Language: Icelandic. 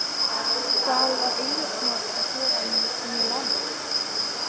Hvað var Eiður Smári að gera í Mílanó?